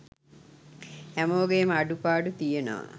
හැමෝගෙම අඩුපාඩු තියනව